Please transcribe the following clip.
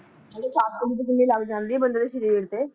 ਆ ਨਾਲੇ ਸੱਟ ਵੀ ਤਾਂ ਕਿੰਨੀ ਲੱਗ ਜਾਂਦੀ ਆ ਬੰਦੇ ਦੇ ਸ਼ਰੀਰ ਤੇ